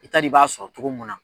I t'a d'i b'a sɔrɔ cogo mun na.